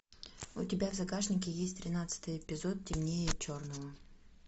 у тебя в загашнике есть тринадцатый эпизод темнее черного